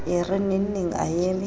e re nengneng a eme